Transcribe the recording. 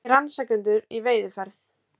Segir rannsakendur í veiðiferð